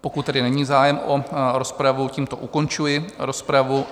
Pokud tedy není zájem o rozpravu, tímto ukončuji rozprav.